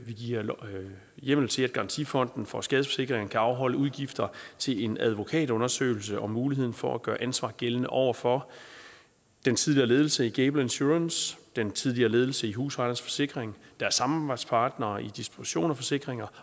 vi giver hjemmel til at garantifonden for skadesforsikringer kan afholde udgifter til en advokatundersøgelse om muligheden for at gøre ansvar gældende over for den tidligere ledelse i gable insurance den tidligere ledelse i husejernes forsikring deres samarbejdspartnere i distribution af forsikringer